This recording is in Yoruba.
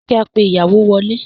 Ṣé kí a pe ìyàwó wọlé?